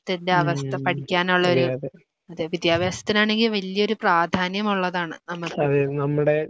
ത്തിന്റെ അവസ്ഥ പഠിക്കാനുള്ളൊരു വിദ്യാഭ്യാസത്തിനാണെങ്കിൽ വലിയൊരു പ്രാധാന്യമുള്ളതാണ് നമുക്ക്.